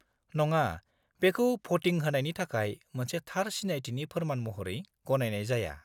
-नङा, बेखौ भ'टि होनायनि थाखाय मोनसे थार सिनायथिनि फोरमान महरै गनायनाय जाया।